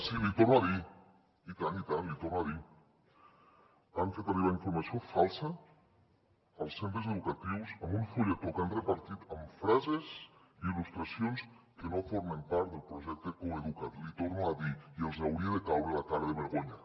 sí l’hi torno a dir i tant i tant l’hi torno a dir han fet arribar informació falsa als centres educatius amb un fulletó que han repartit amb frases i il·lustracions que no formen part del projecte coeduca’t l’hi torno a dir i els hauria de caure la cara de vergonya